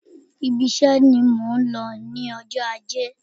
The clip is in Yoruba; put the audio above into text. Ibi iṣe ni mò ń lọ ní ọjọ́ ajé.